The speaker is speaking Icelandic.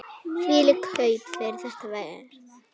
Þvílík kaup fyrir þetta verð!